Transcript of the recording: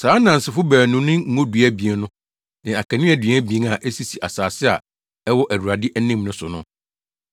Saa nnansefo baanu no ne ngodua abien no ne akaneadua abien a esisi asase a ɛwɔ Awurade anim no so no.